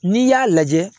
N'i y'a lajɛ